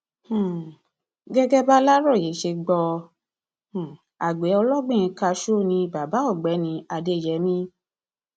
um gẹgẹ bàlàròyé ṣe gbọ um àgbẹ ọlọgbìn káṣù ni bàbá ọgbẹni adéyẹmi